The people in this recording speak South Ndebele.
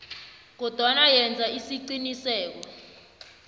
kodwana yenza isiqiniseko